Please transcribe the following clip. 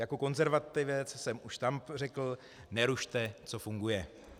Jako konzervativec jsem už tam řekl: nerušte, co funguje.